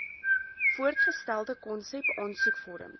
voorgestelde konsep aansoekvorms